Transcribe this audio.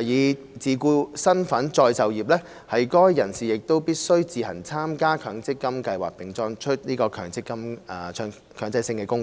以自僱身份再就業，該人士則必須自行參加強積金計劃並作出強制性供款。